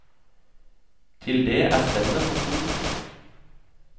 Til det er spennet for stort.